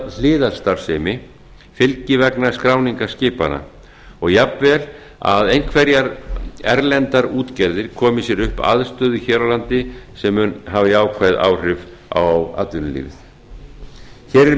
hliðarstarfsemi fylgi vegna skráningar skipanna og jafn vel að einhverjar erlendar útgerðir komi sér upp aðstöðu hér á landi sem mun hafa jákvæð áhrif á atvinnulífið hér